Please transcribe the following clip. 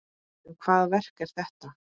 En hvaða verk er þetta?